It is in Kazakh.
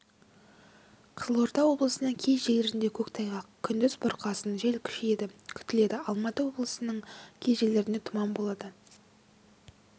қызылорда облысының кей жерлерінде көктайғақ күндіз бұрқасын жел күшейеді күтіледі алматы облысының кей жерлерінде тұман болады